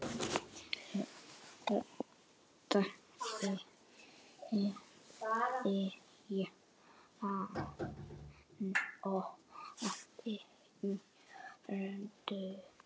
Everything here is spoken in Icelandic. Aldrei jafnoki Öldu.